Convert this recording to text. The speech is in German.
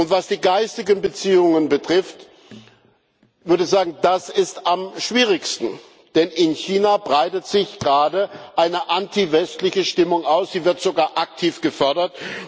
Was die geistigen Beziehungen betrifft, würde ich sagen Das ist am schwierigsten, denn in China breitet sich gerade eine antiwestliche Stimmung aus, die wird sogar aktiv gefördert.